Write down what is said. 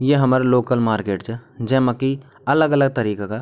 या हमर local market च जैमा की अलग-अलग तरीका का --